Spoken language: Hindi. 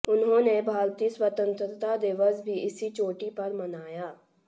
उन्होंने भारतीय स्वतंत्रता दिवस भी इसी चोटी पर मनाया